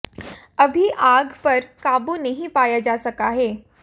अभी आग पर काबू नहीं पाया जा सका है